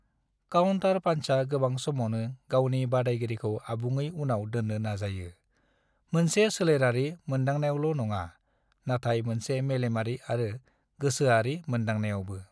Counter पान्चा गोबां समावनो गावनि बादायगिरिखौ आबुङै उनाव दोन्नो नाजायो, मोनसे सोलेरारि मोनदांनायावल' नङा, नाथाय मोनसे मेलेमारि आरो गोसोआरि मोनदांनायावबो।